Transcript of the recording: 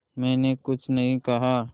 मैंने कुछ नहीं कहा